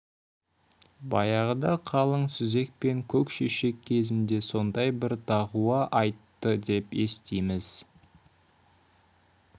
баяғыда қалың сүзек пен көкшешек кезінде сондай бір дағуа айтты деп естиміз